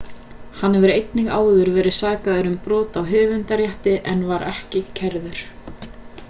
hann hefur einnig áður verið sakaður um brot á höfundarrétti en var ekki kærður